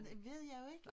Det ved jeg jo ikke